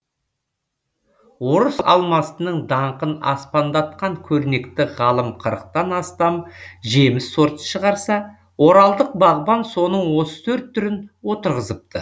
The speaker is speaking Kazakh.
орыс алмасының даңқын аспандатқан көрнекті ғалым қырықтан астам жеміс сортын шығарса оралдық бағбан соның отыз төрт түрін отырғызыпты